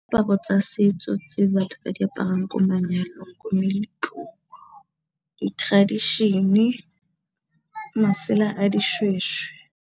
Diaparo tsa setso tse batho ba di aparang ko manyalong, ko meletlong di tradition-e, masela a dishweshwe.